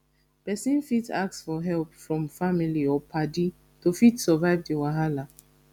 person fit ask for help from family or paddy to fit survive di wahala